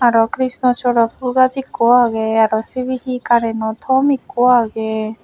araw krishnachura phul gaj ikko agey aro sibey hee kareno tom ikko agey.